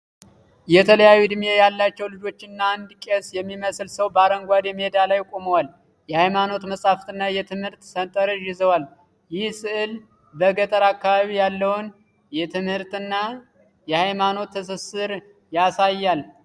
የተለያዩ ዕድሜ ያላቸው ልጆችና አንድ ቄስ የሚመስል ሰው በአረንጓዴ ሜዳ ላይ ቆመዋል። የሃይማኖት መጽሐፍና የትምህርት ሠንጠረዥ ይዘዋል። ይህ ሥዕል በገጠር አካባቢ ያለውን የትምህርትና የሃይማኖት ትስስር ያሳያል።